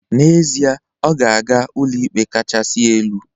N'ezie, ọ ga-aga Ụlọikpe Kasị Elu